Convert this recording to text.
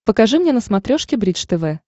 покажи мне на смотрешке бридж тв